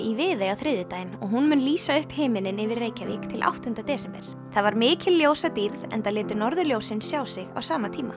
í Viðey á þriðjudaginn og hún mun lýsa upp himininn yfir Reykjavík til áttunda desember það var mikil ljósadýrð enda létu norðurljósin sjá sig á sama tíma